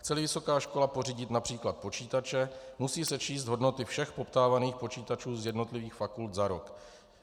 Chce-li vysoká škola pořídit například počítače, musí sečíst hodnoty všech poptávaných počítačů z jednotlivých fakult za rok.